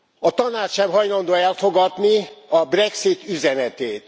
A Tanács sem hajlandó elfogadni a Brexit üzenetét.